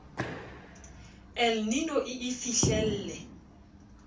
el nino e e fihlelle